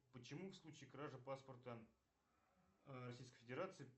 почему в случае кражи паспорта российской федерации